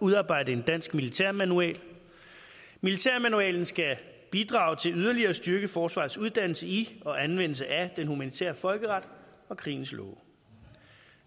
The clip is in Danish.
udarbejde en dansk militærmanual militærmanualen skal bidrage til yderligere at styrke forsvarets uddannelse i og anvendelse af den humanitære folkeret og krigens love